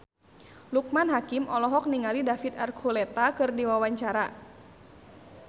Loekman Hakim olohok ningali David Archuletta keur diwawancara